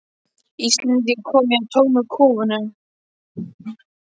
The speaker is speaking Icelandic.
Íslendinga, kom ég að tómum kofunum.